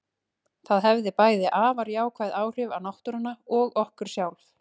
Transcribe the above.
Það hefði bæði afar jákvæð áhrif á náttúruna og okkur sjálf.